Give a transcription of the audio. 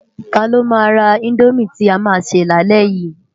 Tá ló má rá Indómi ti á má sè lálè yi?